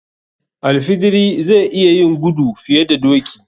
Al fidiri zai iya yin gudu fiye da doki.